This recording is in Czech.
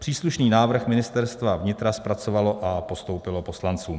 Příslušný návrh Ministerstva vnitra zpracovalo a postoupilo poslancům.